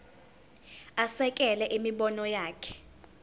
asekele imibono yakhe